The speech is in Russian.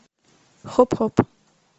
хоп хоп